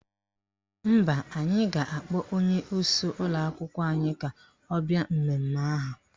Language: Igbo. Mba, anyị ga-akpọ onyeisi ụlọakwụkwọ anyị ka ọ bịa mmemme ahụ.